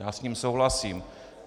Já s ním souhlasím.